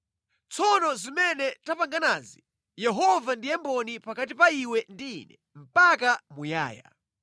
Tsono zimene tapanganazi Yehova ndiye mboni pakati pa iwe ndi ine mpaka muyaya.”